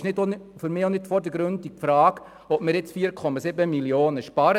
Für mich stellt sich auch nicht vordergründig die Frage, ob wir 4,7 Mio. Franken sparen.